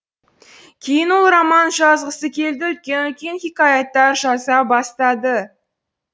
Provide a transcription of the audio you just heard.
кейін ол роман жазғысы келді үлкен үлкен хикаяттар жаза бастады